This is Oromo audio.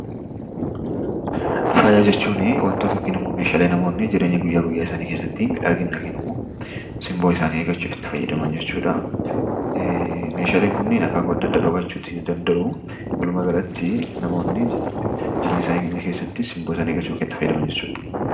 Faaya jechuun wantoota namoonni jireenya guyyaa guyyaa isaanii keessatti miidhagina yookiin simboo isaanii eeggachuudhaaf itti fayyadaman jechuudha. Faayis akaakuu adda addaa qabaachuu ni danda'a.